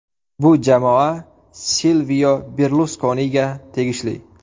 Bu jamoa Silvio Berluskoniga tegishli.